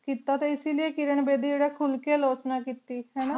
ਕੀਤਾ ਟੀ ਇਸੀ ਲਏ ਕਿਰਣ ਬੇਦੀ ਜੇਰਾ ਖੁਲ ਕੀ ਲੋਚਨਾ ਕੀਤੀ